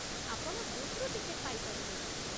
ଆପଣ ବୁଥ୍‌ରୁ ଟିକେଟ ପାଇପାରିବେ ।